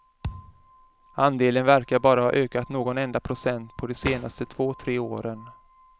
Andelen verkar bara ha ökat någon enda procent på de senaste två tre åren.